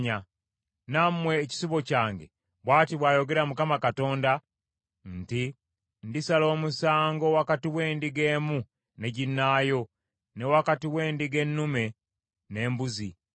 “ ‘Nammwe ekisibo kyange, bw’ati bw’ayogera Mukama Katonda nti, Ndisala omusango wakati w’endiga emu ne ginnaayo ne wakati w’endiga ennume n’embuzi.